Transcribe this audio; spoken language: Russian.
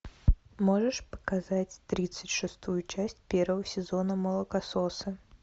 можешь показать тридцать шестую часть первого сезона молокососы